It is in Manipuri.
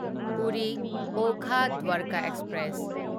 ꯄꯨꯔꯤ ꯑꯣꯈꯥ ꯗ꯭ꯋꯥꯔꯀ ꯑꯦꯛꯁꯄ꯭ꯔꯦꯁ